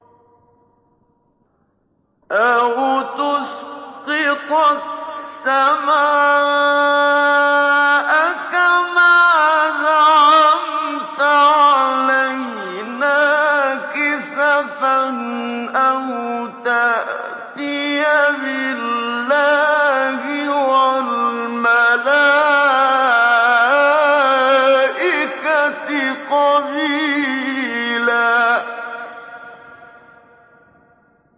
أَوْ تُسْقِطَ السَّمَاءَ كَمَا زَعَمْتَ عَلَيْنَا كِسَفًا أَوْ تَأْتِيَ بِاللَّهِ وَالْمَلَائِكَةِ قَبِيلًا